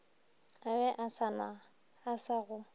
a be a sa go